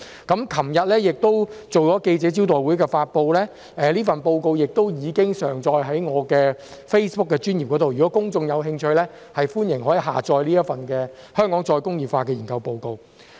昨天亦舉行了記者招待會發布，這份報告亦已上載於我的 Facebook 專頁，如果公眾有興趣，歡迎下載這份"香港再工業化"的研究報告。